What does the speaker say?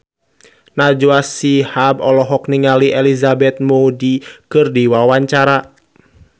Najwa Shihab olohok ningali Elizabeth Moody keur diwawancara